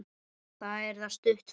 Það er það stutt ferð.